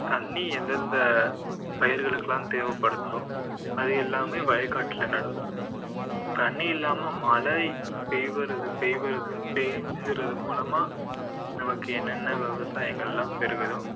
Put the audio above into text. தண்ணி எந்தெந்த பயிர்களுக்கு எல்லாம் தேவைப்படுதோ அது எல்லாமே வயக்காட்டுல நடுவோம் தண்ணி இல்லாம மழை பெய்வறது~ பெய்வறது` பெய்ஞ்சறது மூலமா நமக்கு என்னென்ன விவசாயங்கள் எல்லாம் பெருகுதோ